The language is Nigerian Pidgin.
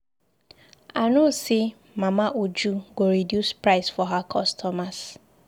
I know say Mama Uju go reduce price for her customers.